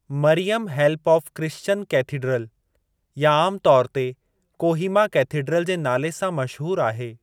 Maryam help of Christian cathedral या आमु तौर ते कोहीमा केथीड्रल जे नाले सां मशहूरु आहे।